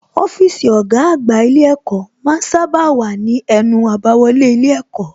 Ọ́fíìsì ọ̀gá àgbà ilé ẹ̀kọ́ ma ń sábà wà ní ẹnu àbáwọlé ilé ẹ̀kọ́